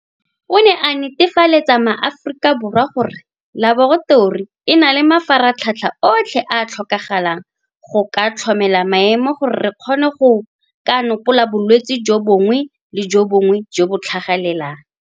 O ne a netefaletsa MaAforika Borwa gore Laboratori e na le mafaratlhatlha otlhe a a tlhokagalang go ka tlhokomela maemo gore re kgone go ka nopola bolwetse jo bongwe le jo bongwe jo bo tlhagelelang.